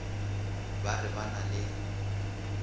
ba re ba na le